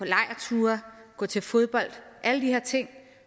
gå til fodbold alle de her ting